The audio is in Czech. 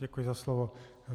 Děkuji za slovo.